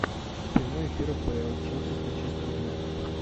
прямой эфир апл челси с манчестер юнайтед